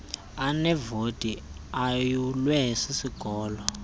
aneevoti ayulwe sisikolo